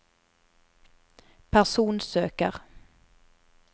personsøker